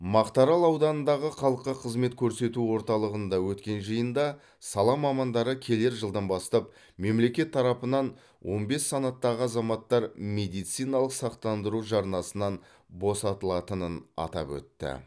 мақтарал ауданындағы халыққа қызмет көрсету орталығында өткен жиында сала мамандары келер жылдан бастап мемлекет тарапынан он бес санаттағы азаматтар медициналық сақтандыру жарнасынан босатылатынын атап өтті